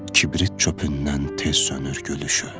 Kibrit çöpündən tez sönür gülüşü.